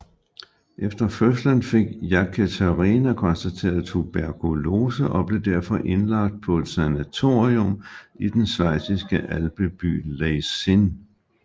Efter fødslen fik Jekaterina konstateret tuberkulose og blev derfor indlagt på et sanatorium i den schweiziske alpeby Leysin